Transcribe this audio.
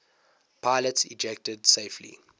pilots ejected safely